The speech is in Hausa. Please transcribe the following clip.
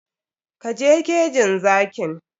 Ka je kejin zakin!